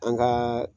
An ka